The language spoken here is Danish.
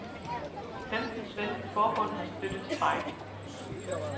Femten svenske forbund har støttet strejken.